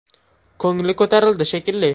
Ko‘ngli ko‘tarildi, shekilli.